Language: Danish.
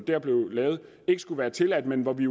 ikke skulle være tilladt men hvor vi